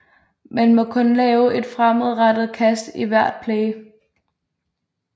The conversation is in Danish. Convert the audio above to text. Man må kun lave et fremadrettet kast i hvert play